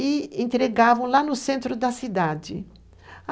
e entregavam lá no centro da cidade.